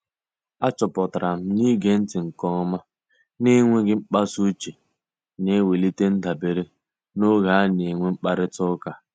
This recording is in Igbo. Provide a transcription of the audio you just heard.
A chọpụtara m na-ige ntị nke ọma na enweghị mkpasa uche na-ewelite ndabere n'oge ana-enwe mkparita ụka